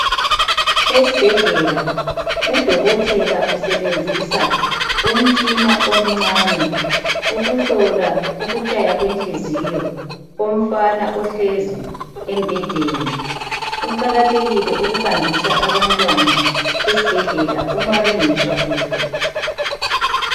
Esibhedlela udokotela usebenzisa umtshina omncane ukuhlola ukutshaya kwenhliziyo yomfana ohlezi embhedeni. Kuqakathekile ukuhambisa abantwana esibhedlela uma bengezwa kuhle.